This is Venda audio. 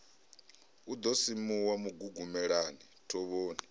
a ḓo simuwa mugugumelani thovhoni